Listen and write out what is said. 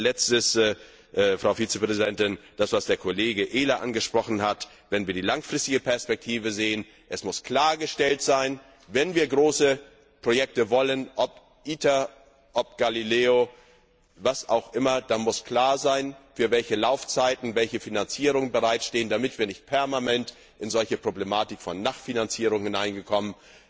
Zum Schluss, Frau Vizepräsidentin, das, was Kollege Ehler angesprochen hat, wenn wir die langfristige Perspektive sehen Es muss klargestellt sein Wenn wir große Projekte wollen sei es ITER oder Galileo, was auch immer dann muss klar sein, für welche Laufzeiten welche Finanzierungen bereitstehen, damit wir nicht permanent in diese Problematik der Nachfinanzierung hineinkommen.